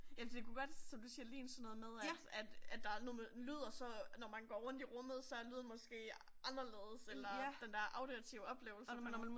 ja for det kunne godt som du siger ligne sådan noget med at at at der er noget med lyd og så når man går rundt i rummet så er lyden måske anderledes eller den der auditive oplevelse